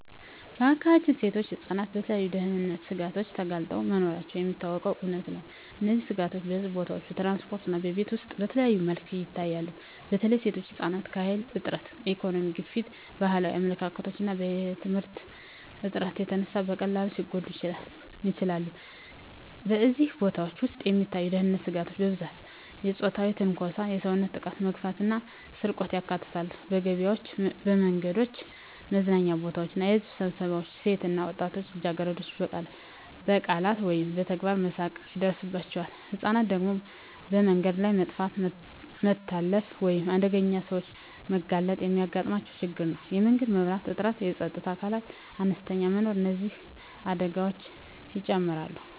በአካባቢያችን ሴቶችና ህፃናት ለተለያዩ የደህንነት ስጋቶች ተጋልጠው መኖራቸው የሚታወቀው እውነታ ነው። እነዚህ ስጋቶች በሕዝብ ቦታዎች፣ በትራንስፖርት እና በቤት ውስጥ በተለያዩ መልኩ ይታያሉ። በተለይ ሴቶችና ህፃናት ከኃይል እጥረት፣ ከኢኮኖሚ ግፊት፣ ከባህላዊ አመለካከቶች እና ከየትምህርት እጥረት የተነሳ በቀላሉ ሊጎዱ ይችላሉ። በሕዝብ ቦታዎች ውስጥ የሚታዩ የደህንነት ስጋቶች በብዛት የፆታዊ ትንኮሳ፣ የሰውነት ጥቃት፣ መግፈፍ እና ስርቆትን ያካትታሉ። በገበያዎች፣ በመንገዶች፣ በመዝናኛ ቦታዎች እና በሕዝብ ስብሰባዎች ሴቶች እና ወጣት ልጃገረዶች በቃላት ወይም በተግባር መሳቀቅ ይደርሳባቸዋል። ህፃናት ደግሞ በመንገድ ላይ መጥፋት፣ መታለፍ ወይም ለአደገኛ ሰዎች መጋለጥ የሚያጋጥማቸው ችግር ነው። የመንገድ መብራት እጥረትና የፀጥታ አካላት አነስተኛ መኖር እነዚህን አደጋዎች ይጨምራሉ።